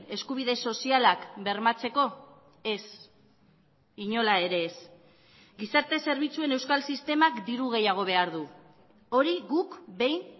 eskubide sozialak bermatzeko ez inola ere ez gizarte zerbitzuen euskal sistemak diru gehiago behar du hori guk behin